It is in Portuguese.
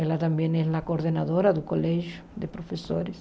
Ela também é a coordenadora do Colégio de Professores.